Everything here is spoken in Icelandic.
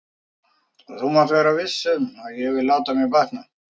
Og þú mátt vera viss um að ég vil láta mér batna.